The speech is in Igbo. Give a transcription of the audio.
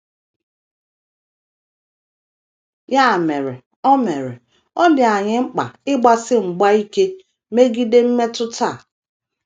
Ya mere, ọ mere, ọ dị anyị mkpa ịgbasi mgba ike megide mmetụta a.